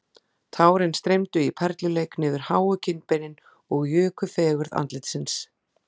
Tárin streymdu í perluleik niður háu kinnbeinin og juku fegurð andlitsins